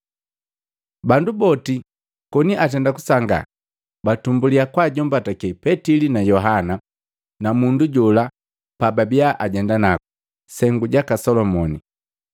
Bandu boti koni atenda kusangaa, batumbulia kwajombatake Petili na Yohana na mundu jola pababiya ajenda ku, “Sengu jaka Solomoni.”